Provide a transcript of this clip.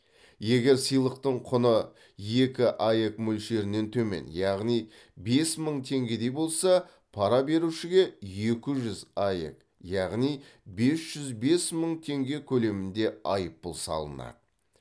егер сыйлықтың құны екі аек мөлшерінен төмен яғни бес мың теңгедей болса пара берушіге екі жүз аек яғни бес жүз бес мың теңге көлемінде айыппұл салынады